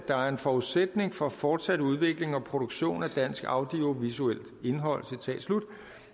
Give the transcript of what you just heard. er en forudsætning for fortsat udvikling og produktion af dansk audiovisuelt indhold